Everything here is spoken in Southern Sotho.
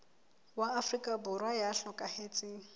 wa afrika borwa ya hlokahetseng